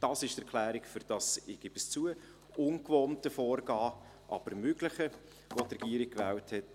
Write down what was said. Dies ist die Erklärung für dieses – ich gebe es zu – ungewohnte, aber mögliche Vorgehen, wie es die Regierung gewählt hat.